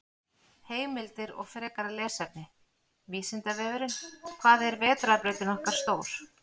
Heimildir og frekara lesefni: Vísindavefurinn: Hvað er vetrarbrautin okkar stór?